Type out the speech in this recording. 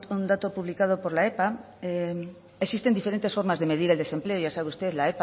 un dato publicado por la epa existen diferentes formas de medir el desempleo ya sabe usted la